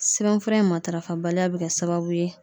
Sɛbɛnfura in matarafa baliya be kɛ sababu ye